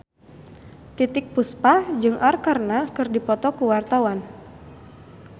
Titiek Puspa jeung Arkarna keur dipoto ku wartawan